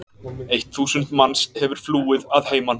Eitt þúsund manns hefur flúið að heiman.